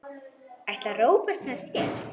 Ætlar Róbert með þér?